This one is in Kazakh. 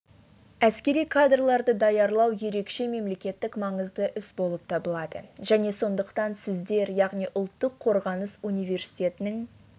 әскери кадрларды даярлау ерекше мемлекеттік маңызды іс болып табылады және сондықтан сіздер яғни ұлттық қорғаныс университетінің